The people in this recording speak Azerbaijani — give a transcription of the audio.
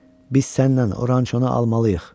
Biz səninlə oranı çonu almalıyıq.